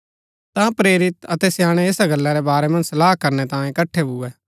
ता प्रेरित अतै स्याणै ऐसा गल्ला रै बारै मन्ज सलाह करणै तांयें इकट्ठा भुऐ